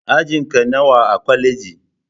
Ajinka nawa a kwaleji?